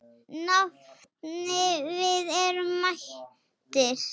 Nafni, við erum mættir